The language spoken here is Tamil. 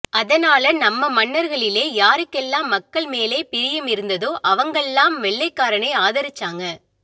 அதனால நம்ம மன்னர்களிலே யாருக்கெல்லாம் மக்கள்மேலே பிரியம் இருந்ததோ அவங்கள்லாம் வெள்ளைக்காரனை ஆதரிச்சாங்க